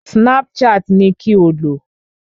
Snapchat ni kí o lò!